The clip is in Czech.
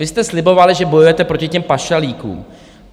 Vy jste slibovali, že bojujete proti těm pašalíkům.